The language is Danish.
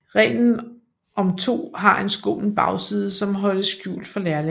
Reglen om to har en skummel bagside som holdes skjult for lærlingen